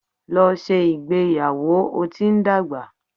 Lọ ṣe ìgbéyàwò! o ti n dagba.